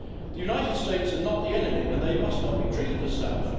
The United States are not the enemy, and they must not be treated as such.